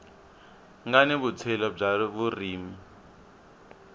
nga ni vutshila bya vurimi